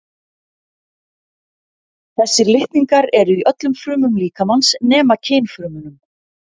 þessir litningar eru í öllum frumum líkamans nema kynfrumunum